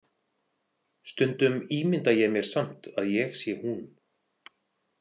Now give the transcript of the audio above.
Stundum ímynda ég mér samt að ég sé hún.